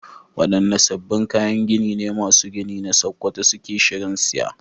Wadanne sabbin kayan gini ne masu gini a Sakkwato suke shirin siya?